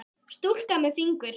Stúlka með fingur.